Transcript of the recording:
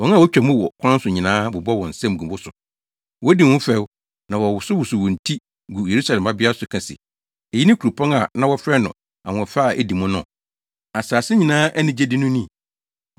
Wɔn a wotwa mu wo kwan so nyinaa bobɔ wɔn nsam gu wo so; wodi wo ho fɛw na wɔwosow wɔn ti gu Yerusalem Babea so ka se, “Eyi ne kuropɔn a na wɔfrɛ no ahoɔfɛ a edi mu no? Asase nyinaa anigyede no ni?”